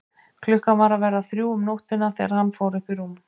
Klukkan var að verða þrjú um nóttina þegar hann fór upp í rúm.